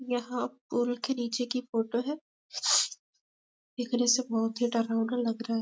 यहाँ पूल के निचे की फोटो है देखने से बहुत ही डरवाना लग रहा है।